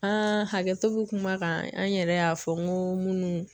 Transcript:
hakɛto bɛ kuma kan an yɛrɛ y'a fɔ n ko minnu